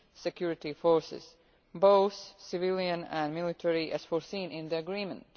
of security forces, both civilian and military, as foreseen in the agreement.